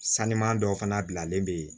Saniman dɔw fana bilalen bɛ yen